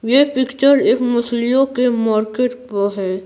ये पिक्चर एक मसलियों के मार्केट का है।